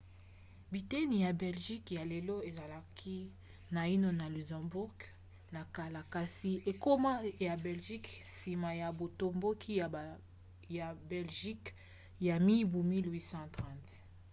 biteni ya belgique ya lelo ezalaki naino na luxembourg na kala kasi ekoma ya belgique nsima ya botomboki ya belgique ya mibu 1830